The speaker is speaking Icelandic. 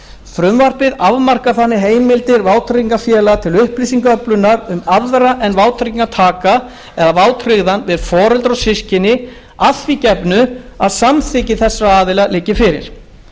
frumvarpið afmarkar þannig heimildir vátryggingafélaga til upplýsingaöflunar um aðra en vátryggingartaka eða vátryggðan við foreldra og systkini að því gefnu að samþykki þessara aðila liggi fyrir